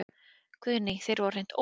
Guðný: Þeir voru hreint ótrúlegir?